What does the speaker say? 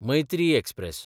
Maitri express